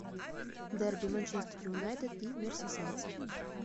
дерби манчестер юнайтед и мерсисайдцы